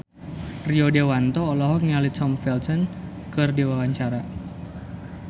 Rio Dewanto olohok ningali Tom Felton keur diwawancara